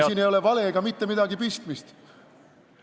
Siin ei ole valega mitte midagi pistmist.